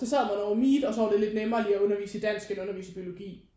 Så sad man over meet og så var det lidt nemmere lige at undervise i dansk end at undervise i biologi